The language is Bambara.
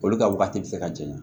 Olu ka wagati bɛ se ka janɲa